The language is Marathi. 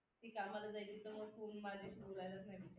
मी कामाला जायचे तर मग फोन माझ्याशी बोलायला नाही